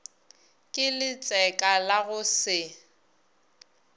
ke letseka la go se